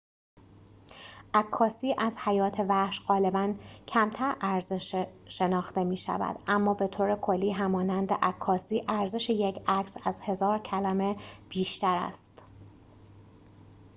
عکاسی از حیات وحش غالباً کمتر ارزش شناخته می‌شود اما به طور کلی همانند عکاسی ارزش یک عکس از هزار کلمه بیشتر است